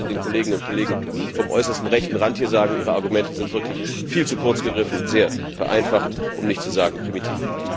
Das will ich gerade den Kolleginnen und Kollegen vom äußersten rechten Rand hier sagen Ihre Argumente sind wirklich viel zu kurz gegriffen und sehr vereinfacht, um nicht zu sagen primitiv.